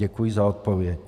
Děkuji na odpověď.